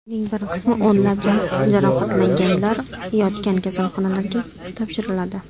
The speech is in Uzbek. Uning bir qismi o‘nlab jarohatlanganlar yotgan kasalxonalarga topshiriladi.